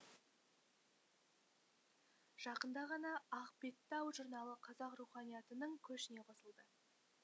жақында ғана ақбеттау журналы қазақ руханиятының көшіне қосылды